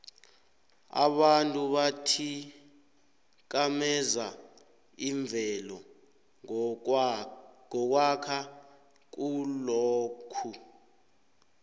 abantu bathikameza imvelo ngokwakha khulokhu